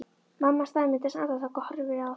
Mamma staðnæmist andartak, horfir á þær.